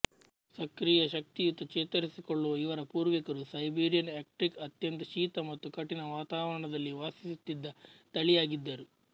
ಸಕ್ರಿಯಶಕ್ತಿಯುತ ಚೇತರಿಸಿಕೊಳ್ಳುವ ಇವರ ಪೂರ್ವಿಕರು ಸೈಬೀರಿಯನ್ ಆಕ್ಟ್ರಿಕ್ ಅತ್ಯಂತ ಶೀತ ಮತ್ತು ಕಠಿಣ ವಾತಾವರಣದಲ್ಲಿ ವಾಸಿಸುತ್ತಿದ್ದ ತಳಿಯಾಗಿದ್ದರು